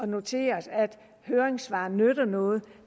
notere at høringssvarene nytter noget